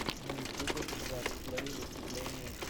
на ютюбе джаст плэй выступление